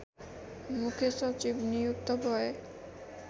मुख्य सचिव नियुक्त भए